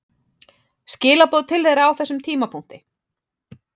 Skilaboð til þeirra á þessum tímapunkti?